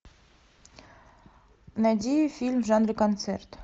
найди фильм в жанре концерт